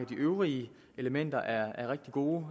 de øvrige elementer er rigtig gode